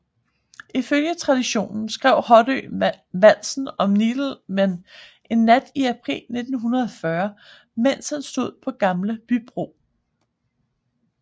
Ifølge traditionen skrev Hoddø valsen om Nidelven en nat i april 1940 mens han stod på Gamle Bybro